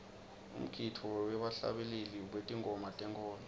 umgidvo webahlabeleli betingoma tenkholo